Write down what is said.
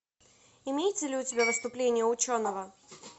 имеется ли у тебя выступление ученого